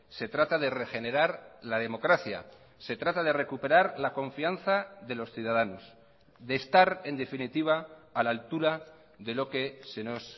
se trata de regenerar la democracia se trata de recuperar la confianza de los ciudadanos de estar en definitiva a la altura de lo que se nos